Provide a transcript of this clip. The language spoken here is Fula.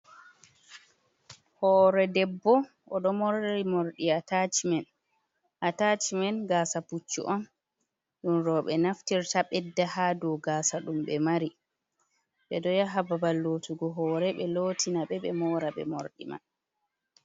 Hoore debbo, o ɗo morli moorɗi ataacimen, ataacimen gaasa puccu on, ɗum rooɓe naftirta, ɓedda haa dow gaasa ɗum ɓe mari, ɓe ɗo yaha babal lotugo hoore ɓe lootina ɓe, ɓe moora ɓe moordi man.